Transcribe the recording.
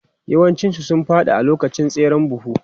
Yawancinsu sun fadi a lokacin tseren buhu.